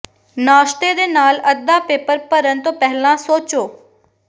ਨਾਸ਼ਤੇ ਦੇ ਨਾਲ ਅੱਧਾ ਪੇਪਰ ਭਰਨ ਤੋਂ ਪਹਿਲਾਂ ਸੋਚੋ